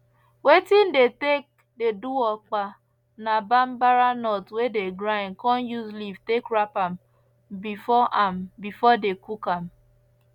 wetin dey take dey do okpa na bambara nut wey dey grind con use leaf take wrap am before am before dey cook am